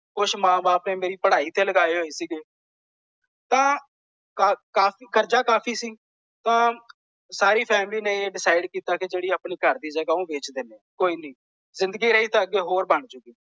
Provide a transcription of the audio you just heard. ਕੁੱਝ ਮੇਰੇ ਮਾਂ ਬਾਪ ਨੇ ਮੇਰੀ ਪੜਾਈ ਤੇ ਲਗਾਏ ਹੋਏ ਸੀਗੇ। ਤਾਂ ਕਾਫ਼ੀ ਕਰਜ਼ਾ ਕਾਫ਼ੀ ਸੀ। ਤਾਂ ਸਾਰੀ ਫੈਮਿਲੀ ਨੇ ਇਹ ਡਿਸਾਈਡ ਕੀਤਾ ਕਿ ਜਿਹੜੀ ਆਪਣੀ ਘਰ ਦੀ ਜਗਾਹ ਉਹ ਵੇਚ ਦਿੰਦੇ ਹਾਂ। ਕੋਈ ਨਹੀਂ ਜਿੰਦਗੀ ਰਹੀ ਤਾਂ ਅੱਗੇ ਹੋ ਬਣ ਜਾਊਗੀ।